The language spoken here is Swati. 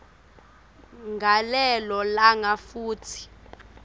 ngalelo langa futsi